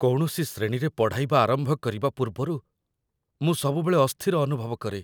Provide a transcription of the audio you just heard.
କୌଣସି ଶ୍ରେଣୀରେ ପଢ଼ାଇବା ଆରମ୍ଭ କରିବା ପୂର୍ବରୁ ମୁଁ ସବୁବେଳେ ଅସ୍ଥିର ଅନୁଭବ କରେ।